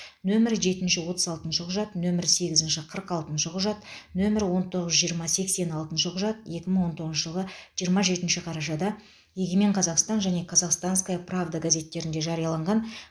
нөмірі жетінші отыз алтыншы құжат нөмірі сегізінші қырық алтыншы құжат нөмірі он тоғыз жиырма сексен алтыншы құжат екі мың он тоғызыншы жылғы жиырма жетінші қарашада егемен қазақстан және казахстанская правда газеттерінде жарияланған